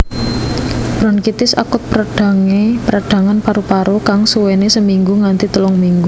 Bronkitis akut perdhangan paru paru kang suwéné seminggu nganti telung minggu